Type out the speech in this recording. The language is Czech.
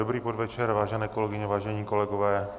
Dobrý podvečer, vážené kolegyně, vážení kolegové.